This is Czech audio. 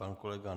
Pan kolega